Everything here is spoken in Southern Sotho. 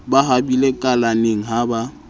ba habile kalaneng ha ba